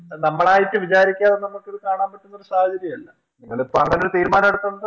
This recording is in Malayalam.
നമ്മളായിട്ട് വിചാരിക്കാതെ നമുക്കിത് കാണാൻ പറ്റുന്നൊരു സാഹചര്യമല്ല നിങ്ങളിപ്പങ്ങാനൊരു തീരുമാനെടുത്തകൊണ്ട്